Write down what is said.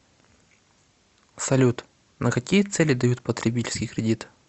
салют на какие цели дают потребительский кредит